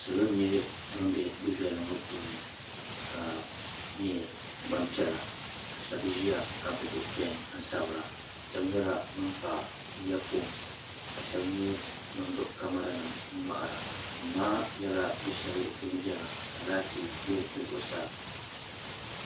Salo n nyɛ bin be du'viɛli ŋɔ puuni ka nyɛ gbampiɛla ka sheba ʒia ka gbibi peni n sabira ka sheba ʒia ka kpa iya fooni ka sheba nyɛ bin gbibi kamara nima n ŋmahara duu maa nyɛla du'sheli din viɛla ka laati be di zuɣusaa .